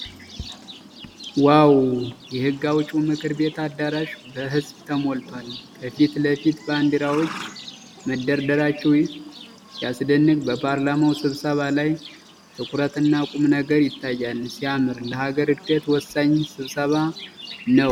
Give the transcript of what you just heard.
ዋው! የሕግ አውጪው ምክር ቤት አዳራሽ በሕዝብ ተሞልቷል። ከፊት ለፊት ባንዲራዎች መደረደራቸው ሲያስደንቅ! በፓርላማው ስብሰባ ላይ ትኩረትና ቁም ነገር ይታያል። ሲያምር! ለሀገር ዕድገት ወሳኝ ስብሰባ ነው።